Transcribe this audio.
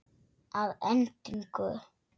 Að endingu